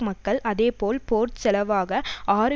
மக்கள் அதேபோல் போர் செலவாக ஆறு